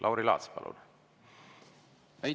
Lauri Laats, palun!